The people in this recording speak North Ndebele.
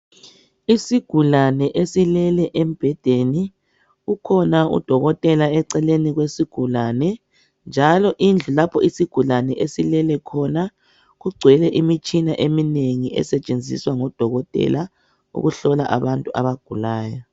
Isigulane esilele embendeni kukhona udokotela eceleni kwesigulane, njalo indlu lapho isigulane esilele khona kugcwele imitshina eminengi esetshenziswa ngodokotela ukuhlola abantu abagulayo.